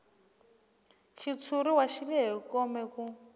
xitshuriwa xi lehe kome ku